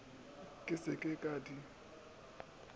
ke se ke ka di